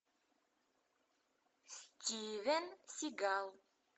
стивен сигал